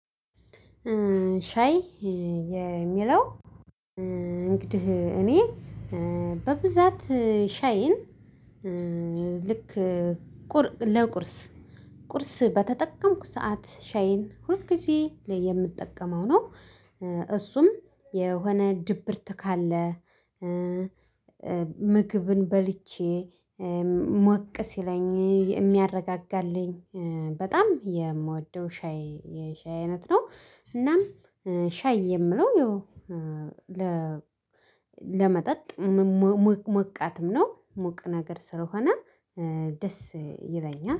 ሻይ የሚለው እንግዲህ እኔ በብዛት ሻይን ልክ ለቁርስ ቁርስ በተጠቀምኩ ሰዓት ሻይን ሁል ጊዜ ላይ የምጠቀመው ነው እሱም የሆነ ድብርት ካለ ምግብን በልቼ ሞቅ ሲለኝ የሚያረጋጋልኝ በጣም የምወደው ሻይ የሻይ አይነት ነው እናም ሻይ የምለው ይሄው ለመጠጥ ሞቃትም ሞቅ ነገር ስለሆነ ደስ ይለኛል።